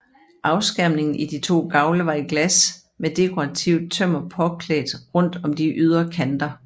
Afskærmningen i de to gavle var i glas med dekorativt tømmer påklædt rundt om de ydre kanter